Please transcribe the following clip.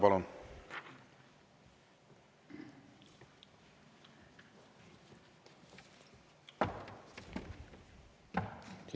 Palun!